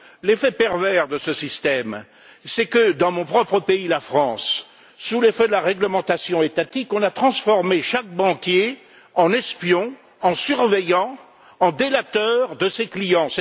L'effet pervers de ce système, c'est que dans mon propre pays, la France, sous l'effet de la réglementation étatique, on a transformé chaque banquier en espion, en surveillant, en délateur de ses clients.